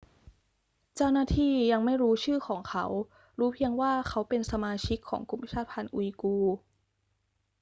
เจ้าหน้าที่ยังไม่รู้ชื่อของเขา รู้เพียงว่าเขาเป็นสมาชิกของกลุ่มชาติพันธุ์อุยกูร์